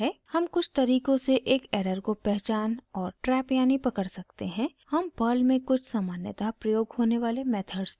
हम कुछ तरीकों से एक एरर को पहचान और ट्रैप यानि पकड़ सकते हैं हम perl में कुछ सामान्यतः प्रयोग होने वाले मेथड्स देखेंगे